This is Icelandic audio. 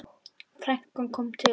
Frænkan kom til okkar.